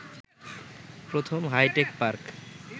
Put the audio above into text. প্রথম hi tech park